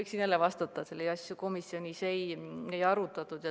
Ma saan jälle vastata, et selliseid asju komisjonis ei arutatud.